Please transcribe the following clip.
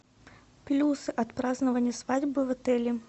плюс от празднования свадьбы в отеле